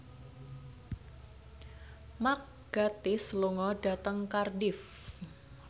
Mark Gatiss lunga dhateng Cardiff